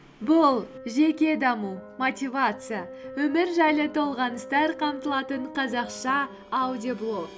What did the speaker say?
бұл жеке даму мотивация өмір жайлы толғаныстар қамтылатын қазақша аудиоблог